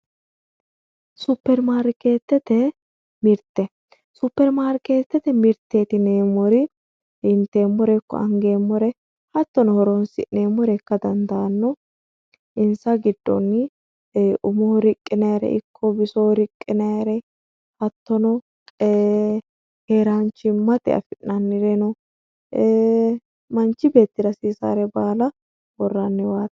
superimarikeetete mirte superimarikeetete mirteeti yineemmori inteemmore ikko angeemmore hattono horoonsi'neemmore ikka dandaanno insa giddonni umoho riqqinayre ikko bisoho riqqinayre hattono keeranchimmate afi'nayre eee manchi beettira hasiisare baala worranniwaati